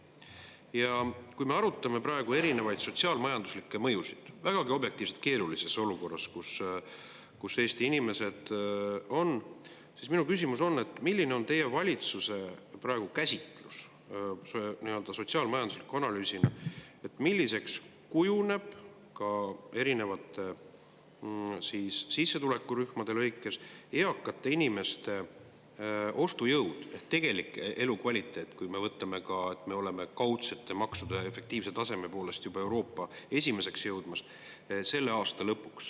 Ja kui me praegu arutame erinevaid sotsiaal-majanduslikke mõjusid, objektiivselt on Eesti inimesed vägagi keerulises olukorras, siis minu küsimus on, et mida teie valitsuse nii-öelda sotsiaal-majanduslik analüüs, milliseks kujuneb teie käsitluse järgi selle aasta lõpuks eakate inimeste ostujõud erinevate sissetulekurühmade lõikes ehk nende tegelik elukvaliteet, kui võtta ka seda, et me oleme kaudsete maksude efektiivse taseme poolest juba Euroopas esimeseks jõudmas.